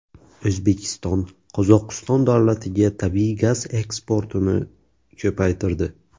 O‘zbekiston Qozog‘iston davlatiga tabiiy gaz eksportini ko‘paytirdi.